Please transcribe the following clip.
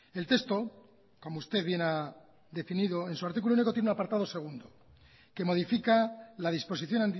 el texto como usted bien ha definido en su artículo único tiene un apartado segundo que modifica la disposición